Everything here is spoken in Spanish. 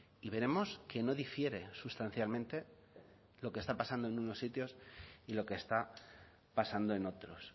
y veremos que no difiere sustancialmente lo que está pasando en unos sitios y lo que está pasando en otros